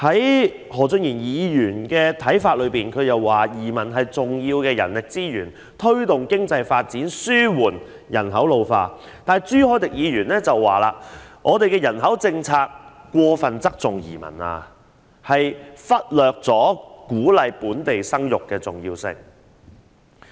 按何俊賢議員的看法，移民是重要的人力資源，可推動經濟發展、紓緩人口老化，但朱凱廸議員則認為我們的人口政策過分側重移民，忽略鼓勵本地生育的重要性。